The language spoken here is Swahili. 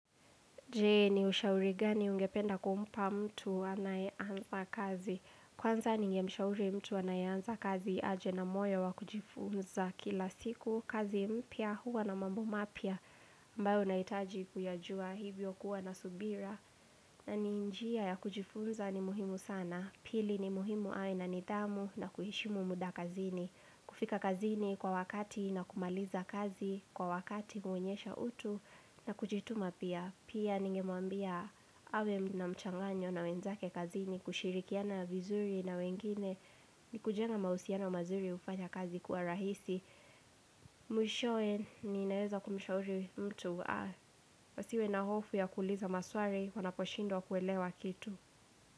Je ni ushauri gani ungependa kumpa mtu anae anza kazi. Kwanza ningemshauri mtu anaeanza kazi aje na moyo wa kujifunza kila siku. Kazi mpya huwa na mambo mapya ambao naitaji kuyajua hivyo kuwa na subira. Na ni njia ya kujifunza ni muhimu sana. Pili ni muhimu aina nidhamu na kuheshimu muda kazini. Kufika kazini kwa wakati na kumaliza kazi kwa wakati huonyesha utu na kujituma pia. Pia ningemwambia awe na mchanganyo na wenzake kazini kushirikiana vizuri na wengine ni kujenga mahusiana mazuri ufanya kazi kuwa rahisi Mwishowe ni naeza kumshauri mtu Wasiwe na hofu ya kuuliza maswari wanaposhindwa kuelewa kitu.